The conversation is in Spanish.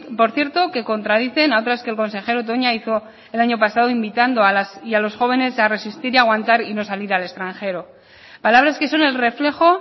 por cierto que contradicen a otras que el consejero toña hizo el año pasado invitando a las y a los jóvenes a resistir y aguantar y no salir al extranjero palabras que son el reflejo